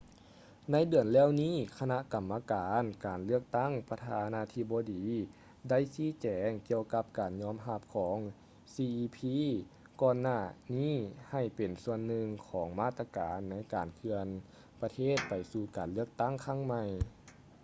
ໃນເດືອນແລ້ວນີ້ຄະນະກຳມະການການເລືອກຕັ້ງປະທານາທິບໍດີໄດ້ຊີ້ແຈງກ່ຽວກັບການຍອມຮັບຂອງ cep ກ່ອນໜ້ານີ້ໃຫ້ເປັນສ່ວນໜຶ່ງຂອງມາດຕະການໃນການເຄື່ອນປະເທດໄປສູ່ການເລືອກຕັ້ງຄັ້ງໃໝ່